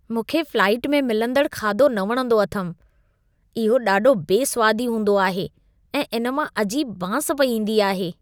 मूंखे फ्लाइट में मिलंदड़ खाधो न वणंदो अथमि। इहो ॾाढो बेस्वादी हूंदो आहे ऐं इन मां अजीब बांस पई ईंदी आहे।